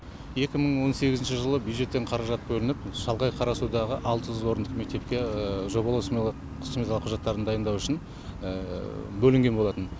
екі мың он сегізінші жылы бюджеттен қаражат бөлініп шалғай қарасудағы алты жүз орындық мектепке жобалау сметалық құжаттарын дайындау үшін бөлінген болатын